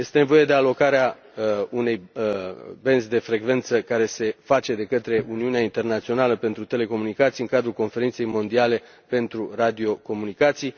Este nevoie de alocarea unei în benzi de frecvență care se face de către Organizația Internațională a Telecomunicațiilor în cadrul Conferinței mondiale pentru radiocomunicații.